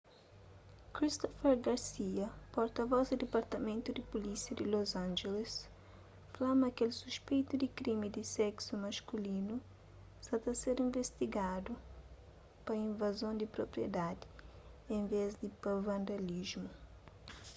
christopher garcia porta-vos di dipartamentu di pulísia di los angeles fla ma kel suspeitu di krimi di seksu maskulinu sa ta ser investigadu pa invazon di propriedadi en vês di pa vandalismu